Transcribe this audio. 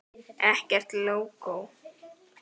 Ekkert lógó.